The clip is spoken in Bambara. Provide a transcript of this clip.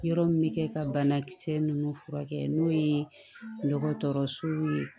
Yɔrɔ min bɛ kɛ ka banakisɛ ninnu furakɛ n'o ye dɔgɔtɔrɔsow ye